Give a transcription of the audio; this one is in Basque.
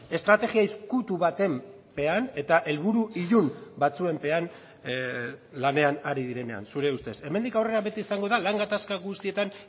estrategia ezkutu baten pean eta helburu ilun batzuen pean lanean ari direnean zure ustez hemendik aurrera beti izango da lan gatazka guztietan